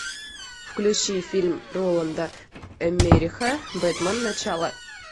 включи фильм роланда эммериха бэтмен начало